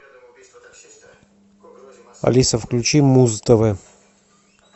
алиса включи муз тв